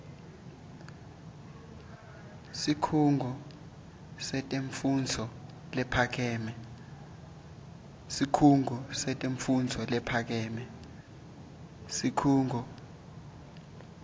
sikhungo setemfundvo lephakeme